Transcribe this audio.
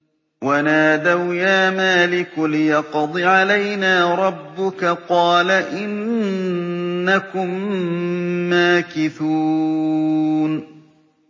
وَنَادَوْا يَا مَالِكُ لِيَقْضِ عَلَيْنَا رَبُّكَ ۖ قَالَ إِنَّكُم مَّاكِثُونَ